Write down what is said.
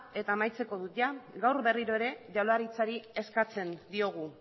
eta amaitzen dut gaur berriro ere jaurlaritzari eskatzen diogu